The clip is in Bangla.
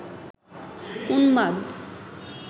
উন্মাদ